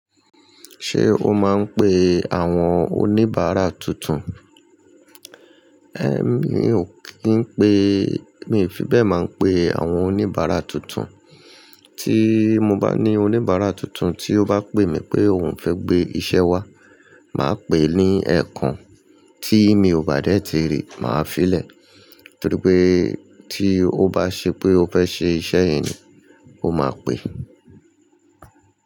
Ṣé o máa ń pe àwọn oníbàárà tuntun? É mi ò kí ń pe, mi ò fi bẹ́ẹ̀ máa ń pe àwọn oníbàárà tuntun. Tí mo bá ní oníbàárà tuntun tí ó bá pè mí pé òun fẹ́ gbé iṣẹ́ wá, màá pè é ní ẹ̀kan tí mi ò bá dẹ́ ti rí, màá fi lè. Nítorí pé tí ó bá ṣe pé ó fẹ́ ṣe iṣẹ́ yìí ni, ó máa pè.